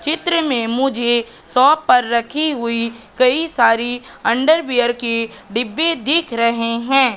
चित्र में मुझे शॉप पर रखी हुई कई सारी अंडरवियर की डिब्बे दिख रहें हैं।